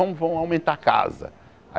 Ah, vamos aumentar a casa.